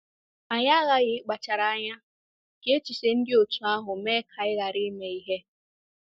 Anyị aghaghị ịkpachara anya ka echiche dị otú ahụ mee ka anyị ghara ime ihe.